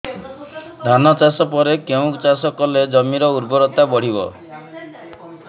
ଧାନ ଚାଷ ପରେ କେଉଁ ଚାଷ କଲେ ଜମିର ଉର୍ବରତା ବଢିବ